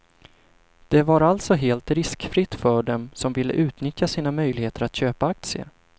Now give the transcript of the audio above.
Det var alltså helt riskfritt för dem som ville utnyttja sina möjligheter att köpa aktier.